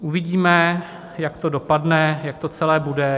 Uvidíme, jak to dopadne, jak to celé bude.